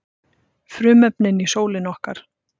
Frumefnin í sólinni okkar.